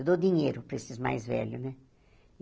Eu dou dinheiro para esses mais velhos, né?